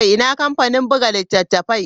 Ina kamfanin buga littattafai?